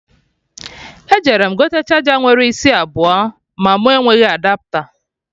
Eje m gote charger nwere isi abụọ ma mụ enweghị Adapta